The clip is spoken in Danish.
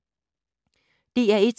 DR1